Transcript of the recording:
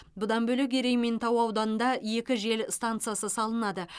бұдан бөлек ерейментау ауданында екі жел стансасы салынады